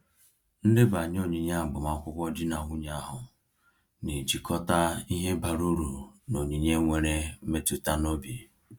Ndebanye onyinye agbamakwụkwọ di na nwunye ahụ na-ejikọta ihe bara uru na onyinye nwere mmetụta n’obi.